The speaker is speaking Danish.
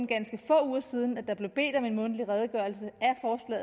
ganske få uger siden at der blev bedt om en mundtlig redegørelse